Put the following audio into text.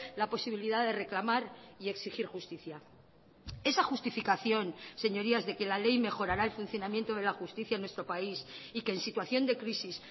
la posibilidad de reclamar y exigir justicia esa justificación señorías de que la ley mejorará el funcionamiento de la justicia en nuestro país y que en situación de crisis